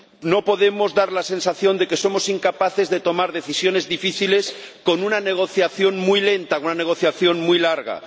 No podemos dar la sensación de que somos incapaces de tomar decisiones difíciles con una negociación muy lenta, con una negociación muy larga.